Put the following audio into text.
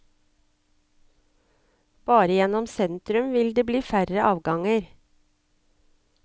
Bare gjennom sentrum vil det bli færre avganger.